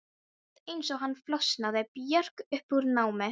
Rétt eins og hann flosnaði Björg upp úr námi.